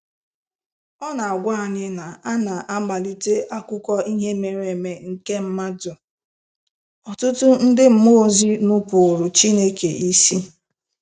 Ọ na-agwa anyị na aná mmalite akụkọ ihe mere eme nke mmadụ, ọtụtụ ndị mmụọ ozi nupụụrụ Chineke isi.